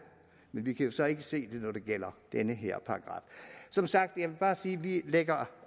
men vi kan så ikke alle se det når det gælder den her paragraf som sagt vil jeg bare sige at vi lægger